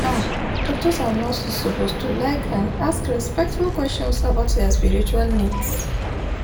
ah doctors and nurses suppose to like and ask respectful questions about dia spiritual needs